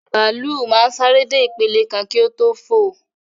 Bàálù máa ń sáré dé ìpele kan kí o tó fò